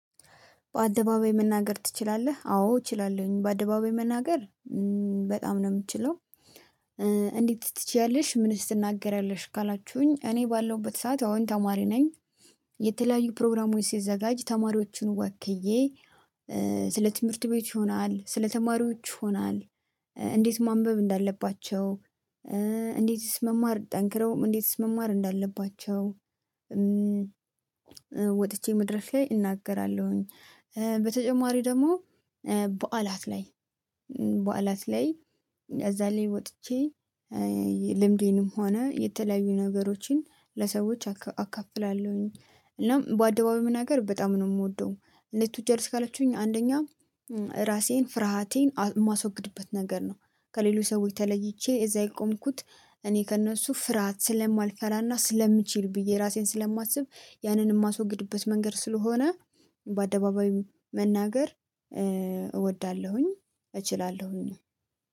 በአደባባይ መናገር ትችላለህ? አዎ እችላለሁኝ በአደባባይ መናገር በጣም ነው የምችለው። እንዴት ትችያለሽ? ምንስ ትናገሪያለሽ ካላችሁኝ እኔ ባለሁበት ሰዓት አሁን ተማሪ ነኝ። የተለያዩ ፕሮግራሞች ሲዘጋጅ ተማሪዎችን ወክዬ። ስለ ትምህርት ቤት ይሆናል ስለ ተማሪዎች ሆናል። እንዴት ማንበብ እንዳለባቸው። እንዴትስ መማር ጠንክረውም እንዴትስ መማር እንዳለባቸው። ወጥቼ መድረክ ላይ እናገራለሁኝ። በተጨማሪ ደግሞ በዓላት ላይ በዓላት ላይ እዛ ላይ ወጥቼ። ልምዴንም ሆነ የተለያዩ ነገሮችን ለሰዎች አካፍላለሁኝ። እናም በአደባባይ መናገር በጣም ነው የምወደው። እንዴት ትወጃለሽ? ካላችሁኝ አንደኛ ራሴን ፍርሃቴን የማስወግድበት ነገር ነው። ከሌላው ሰዎች ተለይቼ እዛ የቆምኩት። እኔ ከእነሱ ፍርሃት ስለማልፈራና ስለምችል ብዬ ራሴን ስለማስብ። ያንን እማስወግድበት መንገድ ስለሆነ። በአደባባይ መናገር እወዳለሁኝ። እችላለሁኝ።